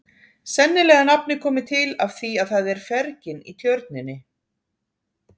Sennilega er nafnið komið til af því að það er fergin í tjörninni.